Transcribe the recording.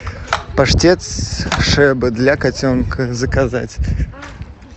паштет шеба для котенка заказать